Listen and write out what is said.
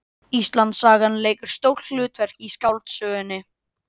Íslandssagan leikur stórt hlutverk í skáldsögunni